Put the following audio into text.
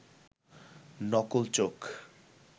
নকল চোখ